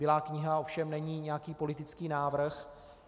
Bílá kniha ovšem není nějaký politický návrh.